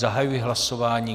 Zahajuji hlasování.